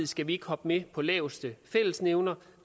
skal vi ikke hoppe med på laveste fællesnævner